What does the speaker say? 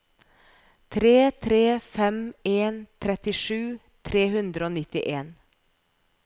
tre tre fem en trettisju tre hundre og nittien